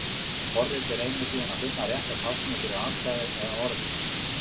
Forritið reynir síðan að finna rétta táknið fyrir atkvæðið eða orðið.